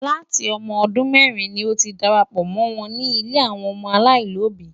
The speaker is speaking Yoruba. Láti ọmọ ọdún mẹ́rin ni ó ti darapọ̀ mọ́ wọn ní ilé àwọn ọmọ aláìlóbìí.